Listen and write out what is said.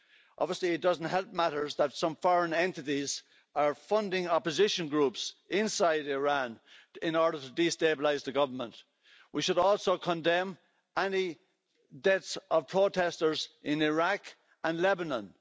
Obviously, it doesn't help matters that some foreign entities are funding opposition groups inside Iran in order to destabilise the government. We should also condemn any deaths of protesters in Iraq and Lebanon.